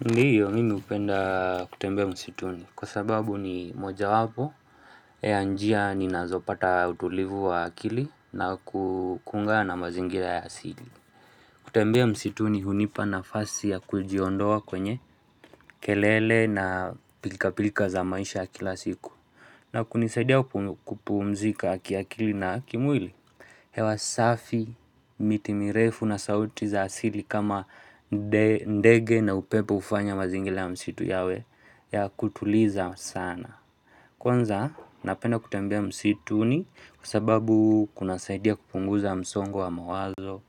Ndio mimi hupenda kutembea msituni kwa sababu ni moja wapo ya njia ni nazopata utulivu wa akili na kuungana mazingira ya asili kutembea msituni hunipa nafasi ya kujiondoa kwenye kelele na pilka pilka za maisha ya kila siku na kunisadia kupumzika ki akili na kimwili hewa safi miti mirefu na sauti za asili kama ndege na upepo hufanya mazingila ya msitu yawe ya kutuliza sana. Kwanza, napenda kutembea msituni kwa sababu kuna saidia kupunguza msongo wa mawazo.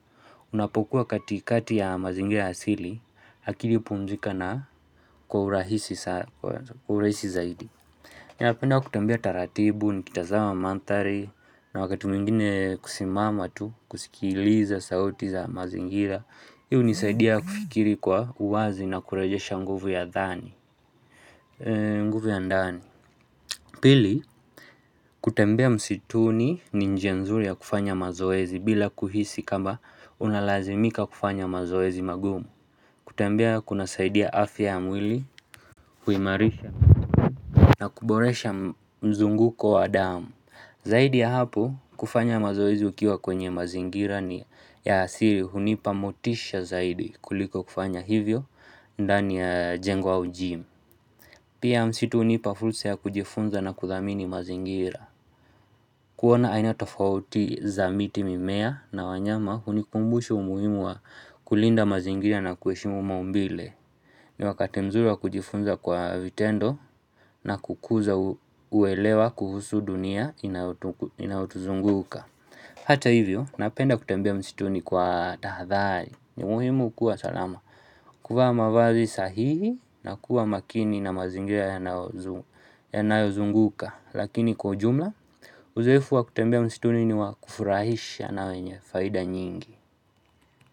Unapokuwa katikati ya mazingila ya asili, akili upumzika na kuhurahisi zaidi. Napenda kutembea taratibu, nikitazama mandhari, na wakati mwingine kusimama tu, kusikiliza sauti za mazingira Hi hunisaidia kufikiri kwa uwazi na kurejesha nguvu ya dhani nguvu ya ndani Pili, kutembea msituni ni njia nzuri ya kufanya mazoezi bila kuhisi kama unalazimika kufanya mazoezi magumu kutembea kunasaidia afya ya mwili, kuimarisha, na kuboresha mzunguko wa damu Zaidi ya hapo kufanya mazoezi ukiwa kwenye mazingira ni ya asiri hunipa motisha zaidi kuliko kufanya hivyo ndani ya jengo au gym Pia msitu hunipa fursa ya kujifunza na kuthamini mazingira. Kuona aina tofauti za miti mimea na wanyama hunikumbusha umuhimu wa kulinda mazingira na kuheshimu maumbile. Ni wakati mzuri wa kujifunza kwa vitendo na kukuza uelewa kuhusu dunia inayotuzunguka Hata hivyo, napenda kutembea msituni kwa tahadhari ni muhimu kuwa salama kuvaa mavazi sahihi na kuwa makini na mazingira yanayozunguka Lakini kwa ujumla, uzoefu wa kutembea msituni ni wa kufurahisha na wenye faida nyingi.